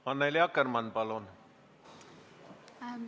Annely Akkermann, palun!